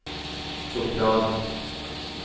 sopranen